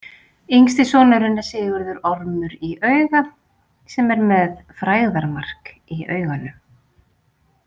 Yngsti sonurinn er Sigurður ormur í auga sem er með „frægðarmark“ í auganu.